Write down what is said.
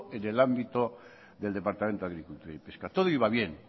en el ámbito del departamento de agricultura y pesca todo iba bien